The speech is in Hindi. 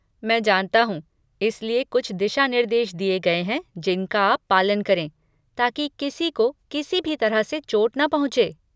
मैं जानता हूँ, इसलिए कुछ दिशानिर्देश दिए गए हैं जिनका आप पालन करें ताकि किसी को किसी भी तरह से चोट न पहुँचे!